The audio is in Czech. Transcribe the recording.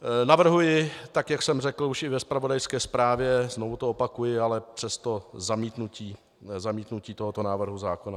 Navrhuji, tak jak jsem řekl už i ve zpravodajské zprávě, znovu to opakuji, ale přesto zamítnutí tohoto návrhu zákona.